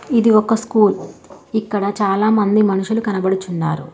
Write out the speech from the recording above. ఇది ఒక స్కూల్ ఇక్కడ చాలా మంది మనుషులు కనపడుచున్నారు.